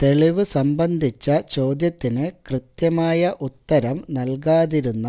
തെളിവ് സംബന്ധിച്ച ചോദ്യത്തിന് കൃത്യമായ ഉത്തരം നല്കാതിരുന്ന